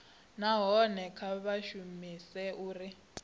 nahone kha vha shumese uri